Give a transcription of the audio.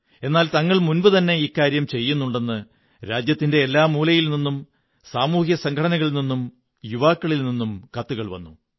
എന്നാൽ തങ്ങൾ മുമ്പുതന്നെ ഇക്കാര്യം ചെയ്യുന്നുണ്ടെന്ന് രാജ്യത്തിന്റെ എല്ലാ മൂലയിൽ നിന്നും സാമൂഹിക സംഘടനകളിൽ നിന്നും യുവാക്കളിൽ നിന്നും കത്തുകൾ വന്നു